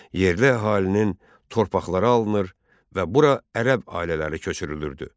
Yerli əhalinin torpaqları alınır və bura ərəb ailələri köçürülürdü.